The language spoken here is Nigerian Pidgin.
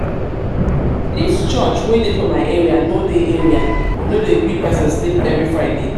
dis church wey dey for my area no dey area no dey gree pesin sleep every friday.